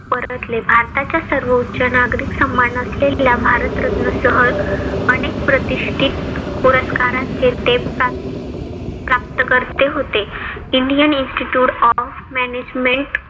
परतले. भारताच्या सर्वोच्च नागरिक सन्मान असलेल्या भारतरत्न सह अनेक प्रतिष्टीत पुरस्कारांचे ते प्राप्तकर्ते होते. Indian institute of management